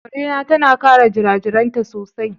Ƙare na tana kare jirajiraainta sosai.